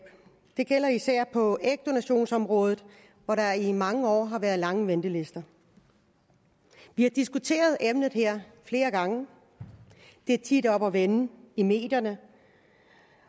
det gælder især på ægdonationsområdet hvor der i mange år har været lange ventelister vi har diskuteret emnet her flere gange det er tit oppe at vende i medierne